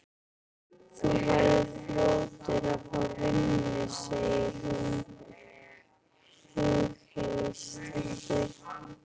Þú verður fljótur að fá vinnu, segir hún hughreystandi.